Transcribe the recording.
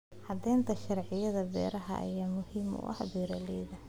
Cadaynta sharciyada beeraha ayaa muhiim u ah beeralayda.